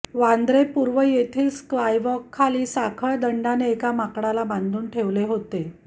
वांद्रे पूर्व येथील स्कायवॉकखाली साखळदंडाने एका माकडाला बांधून ठेवले होते